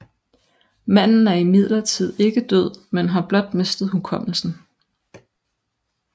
Manden er imidlertid ikke død men har blot mistet hukommelsen